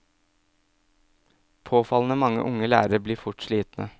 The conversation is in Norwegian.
Påfallende mange unge lærere blir fort slitne.